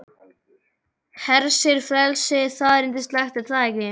Hersir, frelsið, það er yndislegt er það ekki?